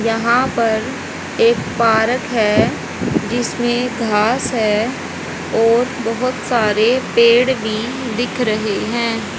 यहा पर एक पारक है जिसमे घास है और बहोत सारे पेड़ भी दिख रहे है।